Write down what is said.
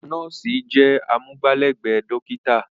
Àwọn nọ́ọ̀sì jẹ́ amúgbálẹ́gbẹ̀ẹ́ dọ́kítà.